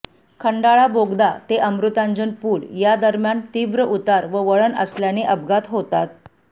खंडाळा बोगदा ते अमृतांजन पूल यादरम्यान तीव्र उतार व वळण असल्याने अपघात होतात